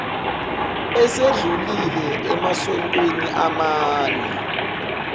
esedlulile emasontweni amane